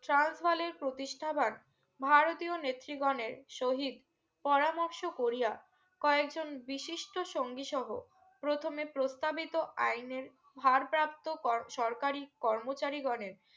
trans হলের প্রতিষ্ঠা বাত ভারতীয় নেত্রী গনের শোহীদ পরার্মরশ করিয়া কয়েকজন বিশিষ্ট্য সঙ্গী সহ প্রথমে প্রস্থাবিদো আইনের ভারপ্রাপ্ত কর সরকারি কার্মচারী গনের